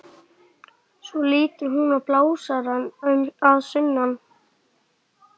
Svo lítur hún á blásarann að sunnan.